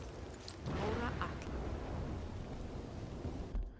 Bára Atla